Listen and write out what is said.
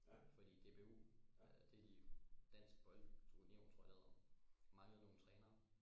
fordi DBU det er de dansk bold union tror jeg det hedder manglede nogle trænere